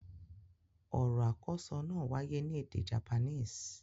Ọ̀RỌ̀ àkọ́ọ́sọ náà wáyé ní èdè Japanese.